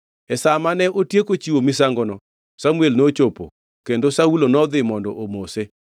E sa ma ne otieko chiwo misangono, Samuel nochopo kendo Saulo nodhi mondo omose.